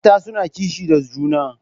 Mata suna kishi da juna.